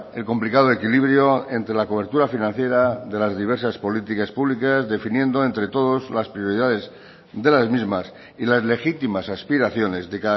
el complicado equilibrio entre la cobertura financiera de las diversas políticas públicas definiendo entre todos las prioridades de las mismas y las legítimas aspiraciones de